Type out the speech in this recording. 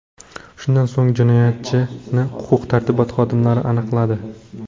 Shundan so‘ng jinoyatchini huquq-tartibot xodimlari aniqladi.